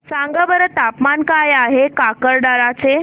सांगा बरं तापमान काय आहे काकरदरा चे